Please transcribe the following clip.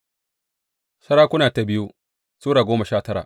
biyu Sarakuna Sura goma sha tara